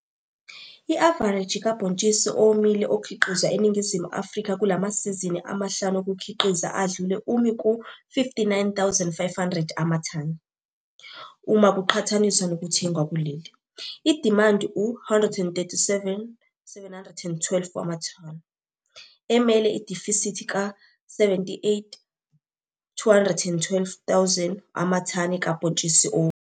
I-avareji kabhontsisi owomile okhiqizwa eNingizimu Afrika kulamasizini amahlanu okukhiqiza adlule umi ku-59 500 amathani. Uma kuqhathaniswa nothengwa kuleli, idimandi u-137 712 wamathani, emele i-difisithi ka-78 212 amathani kabhontshisi owomile.